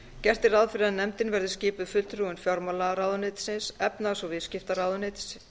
gert er ráð fyrir að nefndin verði skipuð fulltrúum fjármálaráðuneytisins efnahags og viðskiptaráðuneytisins